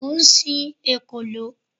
Mo ń sin ekòló.